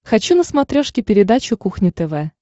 хочу на смотрешке передачу кухня тв